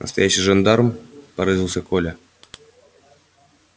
настоящий жандарм поразился коля